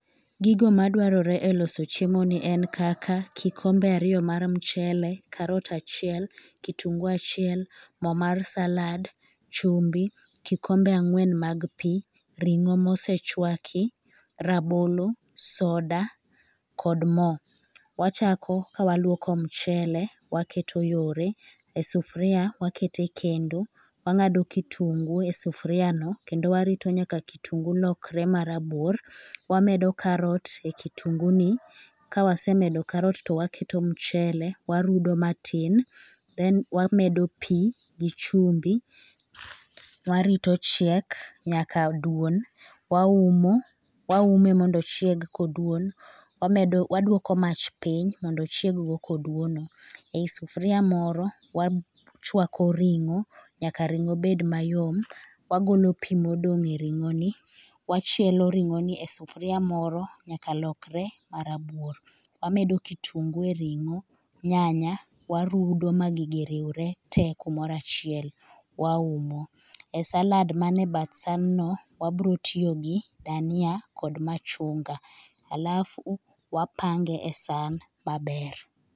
Gigo madwarore e loso chiemo ni en kaka kikombe ariyo mar mchele carrot achiel, mo mar salad ,chumbi, kikombe angwen mag pi, ringo mosechwaki ,rabolo soda kod mo.wachako kawaluoko mchele waketo yore ,e sufuria waketo e kendo, wangado kitungu e sufuria no kendo warito nyaka kitungu lokre marabuor, wamedo carrot e kitungu ni, kawasemedo carrot to waketo mchele, warudo matin then wamedo pi gi chumbi, warito ochiek nyaka oduon, waumo ,waume mondo ochieg koduon, waduoko mach piny mondo ochieg go koduono , e sufuria moro wachwako ringo nyaka ringo bed mayom, wagolo pi modong e ringo ni, wachielo ringo ni e sufuria moro nyaka olokre marabuor ,wamedo kitungu e ringo, nyanya warudo ma gigi riwre te kumoro achiel, waumo e salad mane bath san no wabiro tiyo gi dania kod machunga alafu wapange e san maber